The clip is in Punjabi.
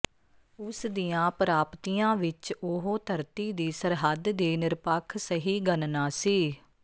ਉਸ ਦੀਆਂ ਪ੍ਰਾਪਤੀਆਂ ਵਿੱਚ ਉਹ ਧਰਤੀ ਦੀ ਸਰਹੱਦ ਦੀ ਨਿਰਪੱਖ ਸਹੀ ਗਣਨਾ ਸੀ